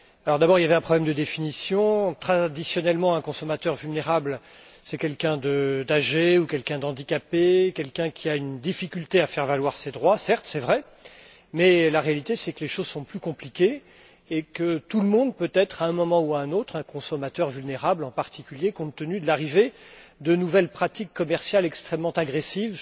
D'abord, il y avait un problème de définition traditionnellement, un consommateur vulnérable, c'est quelqu'un d'âgé, quelqu'un d'handicapé ou quelqu'un qui a une difficulté à faire valoir ses droits. C'est vrai, mais la réalité, c'est que les choses sont plus compliquées et que tout le monde peut être, à un moment ou à un autre, un consommateur vulnérable, en particulier compte tenu de l'arrivée de nouvelles pratiques commerciales extrêmement agressives.